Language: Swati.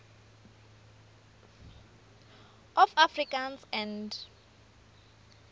of afrikaans and